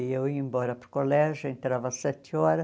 E eu ia embora para o colégio, entrava às sete horas.